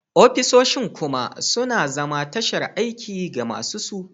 Ofisoshin kuma suna zama tashar aiki ga masu su